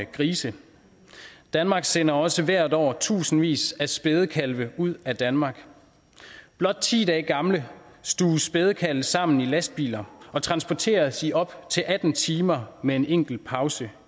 grise danmark sender også hvert år tusindvis af spædekalve ud af danmark blot ti dage gamle stuves spædekalve sammen i lastbiler og transporteres i op til atten timer med en enkelt pause